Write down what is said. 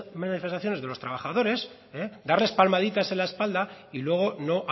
manifestaciones de los trabajadores darles palmaditas en la espalda y luego no